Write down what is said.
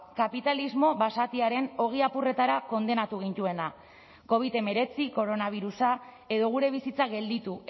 kapitalismo basatiaren ogi apurretara kondenatu gintuena covid hemeretzi koronabirusa edo gure bizitza gelditu